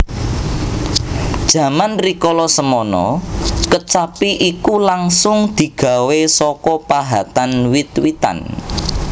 Jaman rikala semana kecapi iku langsung digawé saka pahatan wit witan